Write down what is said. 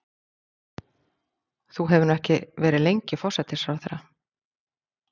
Þú hefur nú ekki verið lengi forsætisráðherra?